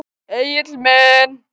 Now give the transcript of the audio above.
Egill minn.